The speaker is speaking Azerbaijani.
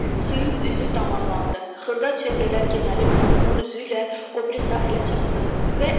Suyun üzü damarlandı, xırda çevrələr genəlib Nohrurun üzü ilə o biri sahələrə çatdı.